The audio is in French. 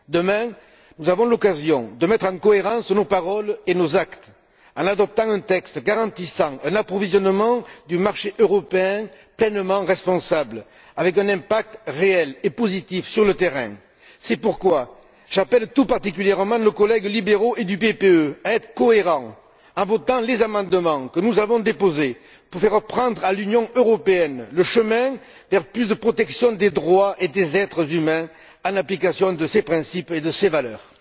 Demain, nous aurons l'occasion de mettre en cohérence nos paroles et nos actes en adoptant un texte qui garantira un approvisionnement du marché européen pleinement responsable, avec un impact réel et positif sur le terrain. C'est pourquoi j'appelle tout particulièrement nos collègues libéraux et du PPE à être cohérents en votant les amendements que nous avons déposés, pour faire prendre à l'Union européenne le chemin vers plus de protection des droits et des êtres humains, en application de ses principes et de ses valeurs.